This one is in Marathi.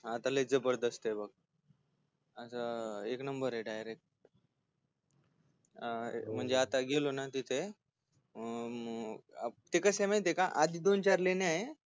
आता लय जबरदस्तय बघ एक नंबर डायरेक्ट अं आ म्हणजे आता गेलो ना तिथे अं ते कसय माहीतेय का आधी दोन चार लेण्याय